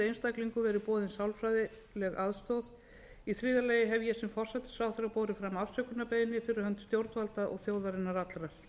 hefur viðkomandi einstaklingum verið boðin sálfræðileg aðstoð í þriðja lagi hef ég sem forsætisráðherra borið fram afsökunarbeiðni fyrir hönd stjórnvalda og þjóðarinnar allrar